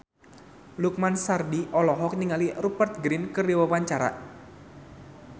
Lukman Sardi olohok ningali Rupert Grin keur diwawancara